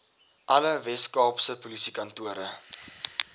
alle weskaapse polisiekantore